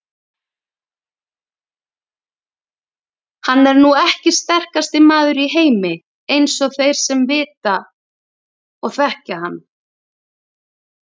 Hann er nú ekki sterkasti maður í heimi eins og þeir vita sem þekkja hann.